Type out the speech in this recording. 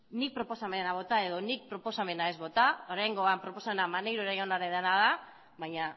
nik proposamena bota edo nik proposamena ez bota oraingoan proposamena maneiro jaunarena da baina